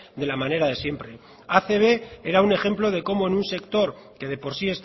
de la manera de siempre acb era un ejemplo de cómo en un sector que de por sí